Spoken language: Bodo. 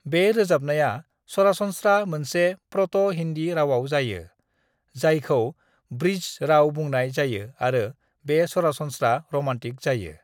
बे रोजाबनाया सरासनस्रा मोनसे प्र'ट'-हिन्दी रावाव जायो, जायखौ बृज राव बुंनाय जायो आरो बे सरासनस्रा र'मान्टिक जायो।